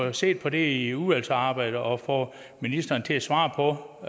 at se på det i udvalgsarbejdet og få ministeren til at svare på